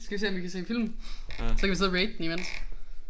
Skal vi se om vi kan se film? Så kan vi sidde og rate den imens